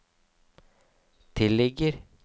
tilligger